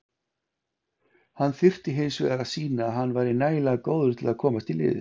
Hann þyrfti hinsvegar að sýna að hann væri nægilega góður til að komast í liðið.